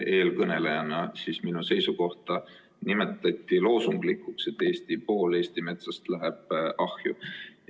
Eelkõneleja nimetas loosunglikuks minu seisukohta, et pool Eesti metsast läheb ahju.